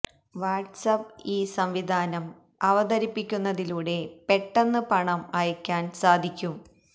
വാട്സ് app ഈ സംവിധാനം അവതരിപ്പിക്കുന്നതിലൂടെ പെട്ടെന്ന് പണം അയക്കാന് സാധിക്കും